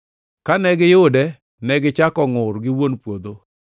Kane giyude, negichako ngʼur gi wuon puodho,